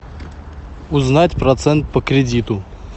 узнать процент по кредиту